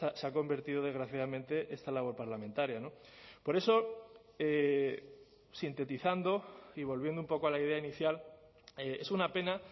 se ha convertido desgraciadamente esta labor parlamentaria por eso sintetizando y volviendo un poco a la idea inicial es una pena